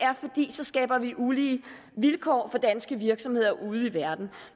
så skaber vi ulige vilkår for danske virksomheder ude i verden